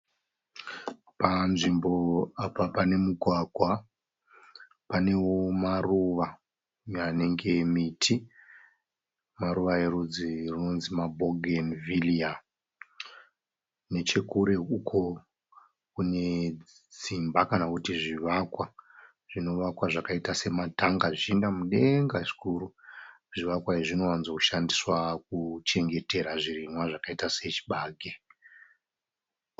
Panzvimbo apa pane mugwagwa. Panewo maruva anenge miti. Maruva erudzi runonzi mabhogeni vhiriya. Nechekure uko kune dzimba kana kuti zvivakwa zvinovakwa zvakaita sematanga zvichienda mudenga zvikuru. Zvivakwa izvi zvinowanzo shandiswa kuchengetera zvirimwa zvakaita sechibage.